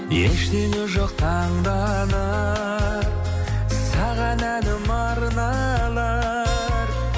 ештеңе жоқ таңданар саған әнім арналар